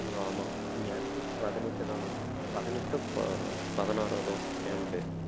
ஆமா bro ஆமா ma'am க்கே பதினெட்டு தானாம் பதினெட்டோ ப~ பதினாறோ தான் ma'am க்கு